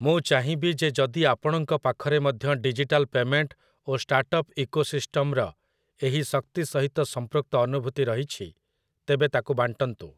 ମୁଁ ଚାହିଁବି ଯେ ଯଦି ଆପଣଙ୍କ ପାଖରେ ମଧ୍ୟ ଡିଜିଟାଲ୍ ପେମେଣ୍ଟ୍ ଓ ଷ୍ଟାର୍ଟ ଅପ୍ ଇକୋସିଷ୍ଟମ୍‌ର ଏହି ଶକ୍ତି ସହିତ ସଂପୃକ୍ତ ଅନୁଭୂତି ରହିଛି, ତେବେ ତାକୁ ବାଣ୍ଟନ୍ତୁ ।